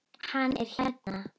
Hann er hérna.